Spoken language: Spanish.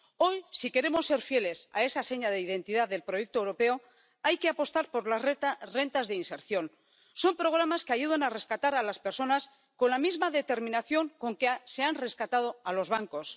Hoy, si queremos ser fieles a esa seña de identidad del proyecto europeo, hay que apostar por las rentas de inserción. Son programas que ayudan a rescatar a las personas con la misma determinación con que se ha rescatado a los bancos.